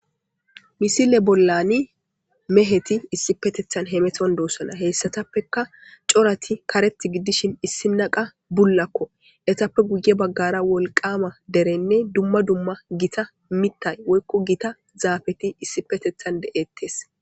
Misile bollani meheti issipetethan hemeton doossana heyssatappeka corati karet giddishin issi naqa bullakko etappe guye baggara wolqama derenne dumma dumma gita mittay woykko gita zaafeti issipetethan de7ettes